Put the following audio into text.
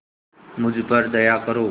मुझ पर दया करो